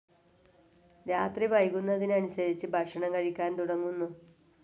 രാത്രി വൈകുന്നതിന് അനുസരിച്ച് ഭക്ഷണം കഴിക്കാൻ തുടങ്ങുന്നു.